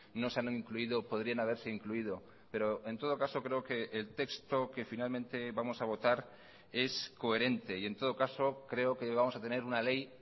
no se han incluido podrían haberse incluido pero en todo caso creo que el texto que finalmente vamos a votar es coherente y en todo caso creo que vamos a tener una ley